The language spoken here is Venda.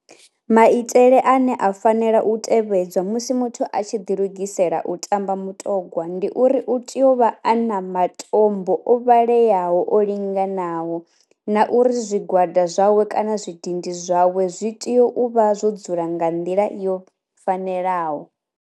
Maitele ane a fanela u tevhedzwa musi muthu a tshi ḓi lugisela u tamba mutogwa ndi uri u tea u vha a na matombo o vhaleaho o linganaho na uri zwi gwada zwawe kana zwi dindi zwawe zwi tea u vha zwo dzula nga nḓila yo fanelaho.